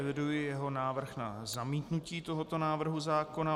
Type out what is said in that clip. Eviduji jeho návrh na zamítnutí tohoto návrhu zákona.